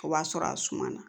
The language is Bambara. O b'a sɔrɔ a suma na